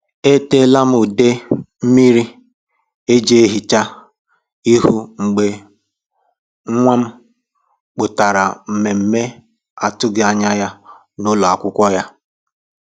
E ṭeela m ude um mmiri eji ehicha um ihu mgbe nwa um m kwupụtara mmemme atụghị anya ya n’ụlọ akwụkwọ ya.”